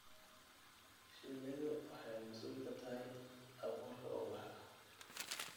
Shinnidu waxay mas'uul ka tahay abuurka ubaxa.